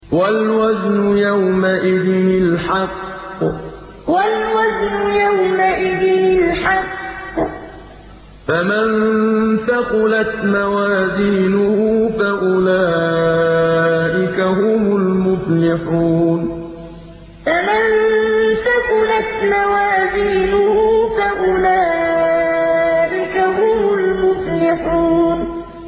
وَالْوَزْنُ يَوْمَئِذٍ الْحَقُّ ۚ فَمَن ثَقُلَتْ مَوَازِينُهُ فَأُولَٰئِكَ هُمُ الْمُفْلِحُونَ وَالْوَزْنُ يَوْمَئِذٍ الْحَقُّ ۚ فَمَن ثَقُلَتْ مَوَازِينُهُ فَأُولَٰئِكَ هُمُ الْمُفْلِحُونَ